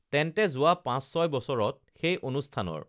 তেন্তে যো‌ৱা পাঁচ ছয় বছৰত সেই অনুষ্ঠানৰ